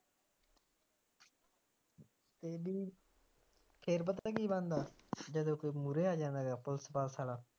ਅਤੇ ਜੀ ਫੇਰ ਪਤਾ ਕੀ ਬਣਦਾ ਜਦੋਂ ਕੋਈ ਮੂਹਰੇ ਆ ਜਾਂਦਾ ਪੁਲਿਸ ਪਾਲਸ ਵਾਲਾ